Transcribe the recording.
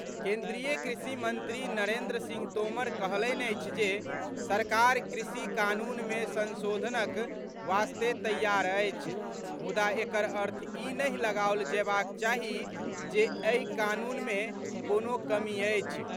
केन्द्रीय कृषि मंत्री नरेन्द्र सिंह तोमर कहलनि अछि जे सरकार कृषि कानून मे संशोधनक वास्ते तैयार अछि, मुदा एकर अर्थ ई नहि लगाओल जयबाक चाही जे एहि कानून मे कोनो कमी अछि।